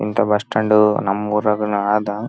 ಅಹ್ ಅದ್ರಲ್ಲೇ ಹೋಗುದು ಅದ್ರಲ್ಲೇ ಬರೋದು.